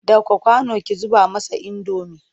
Ɗauko kwano ki zuba masa indomi!